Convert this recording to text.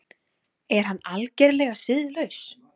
Er hann algerlega siðlaus?